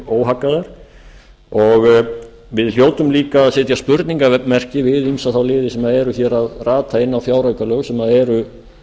sig óhaggaðar við hljótum baka að setja spurningarmerki við ýmsa þá liði sem eru að rata inn á fjáraukalög sem eru